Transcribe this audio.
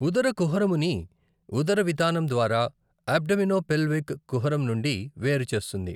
ఉదరకుహరముని ఉదరవితానం ద్వారా అబ్డోమినోపెల్విక్ కుహరం నుండి వేరు చేస్తుంది.